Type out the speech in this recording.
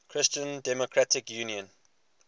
christian democratic union